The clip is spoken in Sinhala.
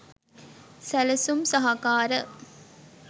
සැලසුම් සහකාර